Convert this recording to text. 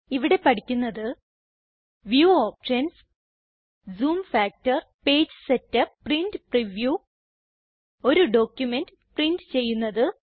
ഇവിടെ പഠിക്കുന്നത് view options zoom factor page setup print preview ഒരു ഡോക്യുമെന്റ് പ്രിന്റ് ചെയ്യുന്നത്